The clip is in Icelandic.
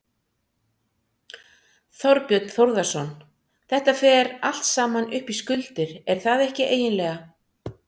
Þorbjörn Þórðarson: Þetta fer allt saman upp í skuldir, er það ekki eiginlega?